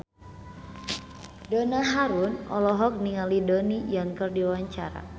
Donna Harun olohok ningali Donnie Yan keur diwawancara